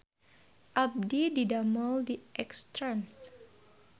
Abdi didamel di X trans